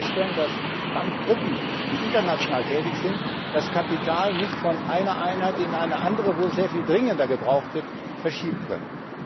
Wir müssen feststellen, dass Bankengruppen, die international tätig sind, das Kapital nicht von einer Einheit in eine andere, wo es sehr viel dringender gebraucht wird, verschieben können.